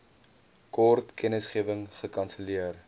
kort kennisgewing gekanselleer